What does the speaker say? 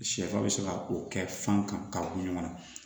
Sɛfan bɛ se ka o kɛ fan kan ka bɔ ɲɔgɔn na